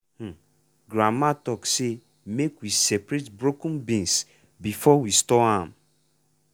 um grandma talk say make we separate broken beans before we store am.